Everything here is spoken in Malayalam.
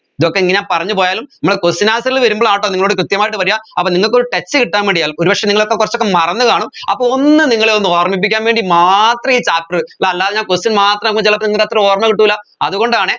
ഇതൊക്കെ ഇങ്ങനെ പറഞ്ഞുപോയാലും നമ്മൾ question answer ൽ വരുമ്പോഴാണ് ട്ടോ നിങ്ങളോട് കൃത്യമായിട്ട് വരിക അപ്പോ നിങ്ങക്കൊരു touch കിട്ടാൻ വേണ്ടിയാൽ ഒരുപക്ഷെ നിങ്ങളൊക്കെ കുറച്ചൊക്കെ മറന്നുകാണും അപ്പോ ഒന്ന് നിങ്ങളെ ഒന്ന് ഓർമ്മിപ്പിക്കാൻ വേണ്ടി മാത്ര ഈ chapter അല്ലാതെ ഞാൻ question മാത്രമാകുമ്പോൾ ചിലപ്പോ നിങ്ങൾക്ക് അത്ര ഓർമ്മകിട്ടൂല അതുകൊണ്ടാണെ